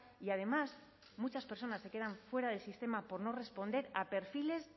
y además muchas personas se quedan fuera del sistema por no responder a perfiles